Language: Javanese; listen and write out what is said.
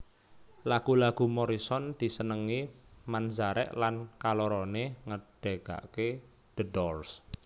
Lagu lagu Morrison disenengi Manzarek lan kalorone ngedegake The Doors